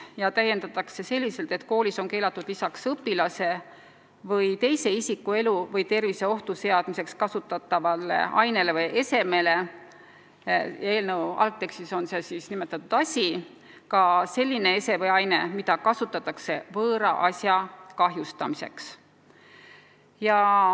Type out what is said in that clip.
Seda täiendatakse selliselt, et koolis on keelatud lisaks õpilase või teise isiku elu või tervise ohtu seadmiseks kasutatavale ainele või esemele – eelnõu algtekstis on sõna "asi" – ka selline ese või aine, mida kasutatakse võõra asja kahjustamiseks.